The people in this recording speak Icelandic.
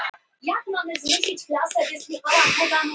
Það var engin stífla í honum sem lokaði fyrir öll orð.